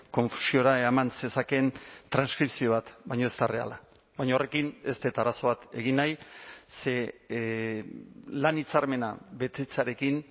konfusiora eraman zezakeen transkripzio bat baina ez da erreala baina horrekin ez dut arazo bat egin nahi ze lan hitzarmena betetzearekin